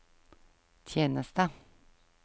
tjeneste